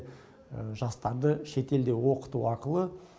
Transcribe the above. жастарды шетелде оқыту арқылы